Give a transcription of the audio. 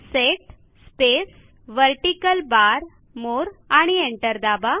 set space vertical bar more आणि enter दाबा